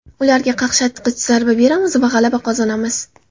Ularga qaqshatqich zarba beramiz va g‘alaba qozonamiz”.